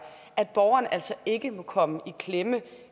at borgerne altså ikke må komme i klemme